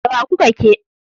da wa kuka ke